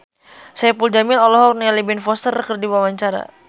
Saipul Jamil olohok ningali Ben Foster keur diwawancara